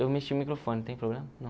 Eu mexi o microfone, tem problema?